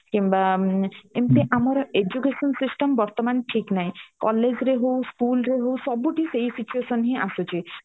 କିମ୍ବା ଏମିତି ଆମର education system ବର୍ତମାନ ଠିକ ନାହିଁ college ରେ ହଉ school ରେ ହଉ ସବୁଠି ସେଇ situation ହିଁ ଆସୁଛି